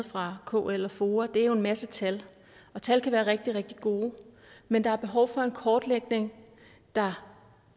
fra kl og foa er jo en masse tal og tal kan være rigtig rigtig gode men der er behov for en kortlægning der